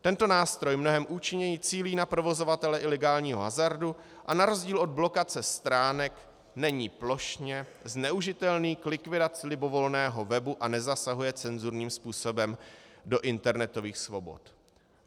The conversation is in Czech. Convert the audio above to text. Tento nástroj mnohem účinněji cílí na provozovatele ilegálního hazardu a na rozdíl od blokace stránek není plošně zneužitelný k likvidaci libovolného webu a nezasahuje cenzurním způsobem do internetových svobod.